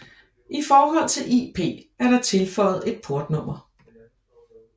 I forhold til IP er der tilføjet et portnummer